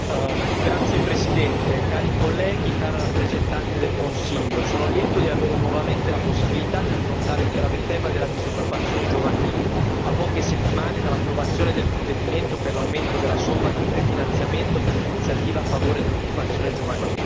Signora Presidente, onorevoli colleghi, cara rappresentante del Consiglio, sono lieto di avere nuovamente la possibilità di affrontare il grave tema della disoccupazione giovanile a poche settimane dall'approvazione del provvedimento per l'aumento della somma di prefinanziamento per l'iniziativa a favore dell'occupazione giovanile.